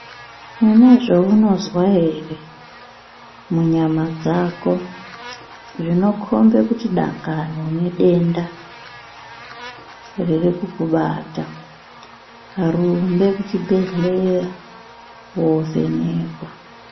Une zveunozwa ere munyama dzako zvinokombe kuti dangani unedenda ririkukubata rumbe kuchibhehlera wovhenekwa.